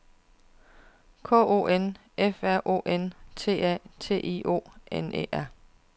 K O N F R O N T A T I O N E R